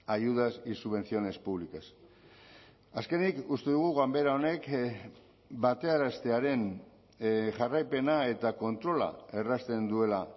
ayudas y subvenciones públicas azkenik uste dugu ganbera honek batearaztearen jarraipena eta kontrola errazten duela